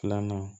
Filanan